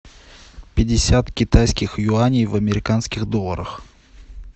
пятьдесят китайских юаней в американских долларах